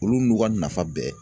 Olu n'u ka nafa bɛɛ.